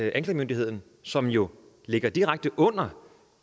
anklagemyndigheden som jo ligger direkte under